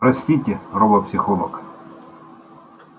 простите робопсихолог